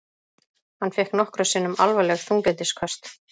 Hann fékk nokkrum sinnum alvarleg þunglyndisköst.